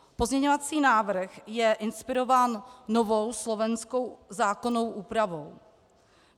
Pozměňovací návrh je inspirován novou slovenskou zákonnou úpravou.